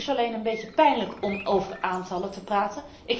Het is alleen een beetje pijnlijk om over aantallen te praten.